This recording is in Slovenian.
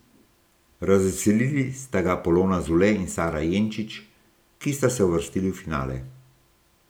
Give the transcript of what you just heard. Razveselili sta ga Polona Zule in Sara Jenčič, ki sta se uvrstili v finale.